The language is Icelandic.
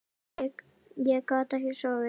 Ég gat ekki sofið.